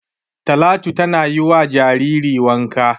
Talatu tana yi wa jariri wanka.